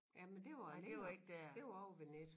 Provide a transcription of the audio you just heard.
Jamen det var længere det var ovre ved Netto